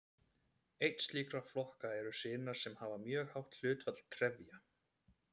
Einn slíkra flokka eru sinar sem hafa mjög hátt hlutfall trefja.